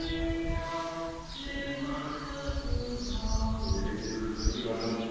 project ବିଷୟରେ ବୁଝନ୍ତୁ ଟିକେ ଭଲ ହୁଅନ୍ତା